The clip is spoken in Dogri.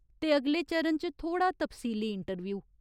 ते अगले चरण च थोह्ड़ा तफसीली इंटरव्यूह ।